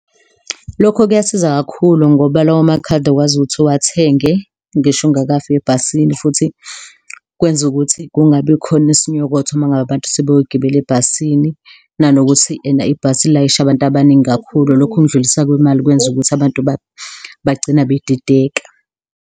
Lokho kuyasiza kakhulu ngoba lawo makhadi ukwazi ukuthi uwathenge ngisho ungakafiki ebhasini futhi kwenza ukuthi kungabikhona isinyokotho uma ngabe abantu sebeyogibela ebhasini nanokuthi ena ibhasi lilayisha abantu abaningi kakhulu, lokundluliswa kwemali kwenza ukuthi abantu bagcina bedideka.